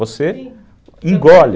Você engole.